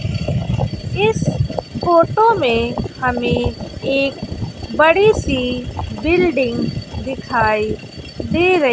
इस फोटो में हमें एक बड़ी सी बिल्डिंग दिखाई दे र--